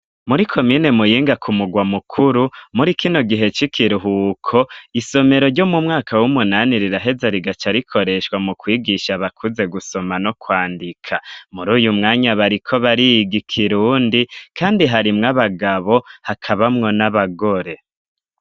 Muri komine muyinga ku mugwa mukuru, muri kino gihe c'ikiruhuko, isomero ryo mu mwaka w'umunani riraheza rigaca rikoreshwa mu kwigisha abakuze gusoma no kwandika, muri uyu mwanya bariko bariga ikirundi kandi harimw' abagabo hakabamwo n'abagore.